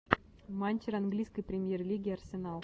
матч английской премьер лиги арсенал